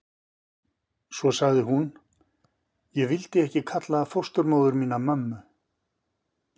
Svo sagði hún: Ég vildi ekki kalla fósturmóður mína mömmu.